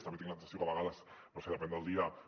també tinc la sensació que a vegades no ho sé depèn del dia